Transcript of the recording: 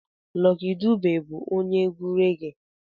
Lucky Dube bụ onye egwu regie